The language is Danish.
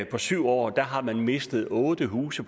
på syv år har man mistet otte huse